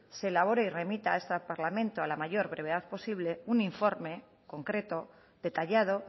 se elabore y remita a este parlamento a la mayor brevedad posible un informe concreto detallado